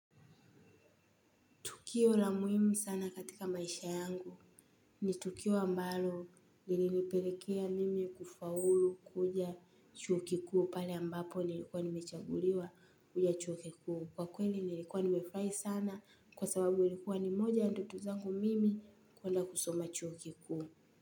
Tukio la muhimu sana katika maisha yangu. Ni tukio ambalo lilinipelekea mimi kufaulu kwenda chuo kikuu, pale ambapo nilikuwa nimechaguliwa kuja chuo kikuu. Kwa kweli nilikuwa nimefurahi sana kwa sababu ilikuwa moja ya ndoto zangu mimi kwenda kusoma chuo kikuu.